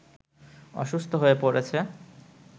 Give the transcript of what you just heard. অসুস্থ হয়ে পড়েছে